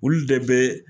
Olu de bɛ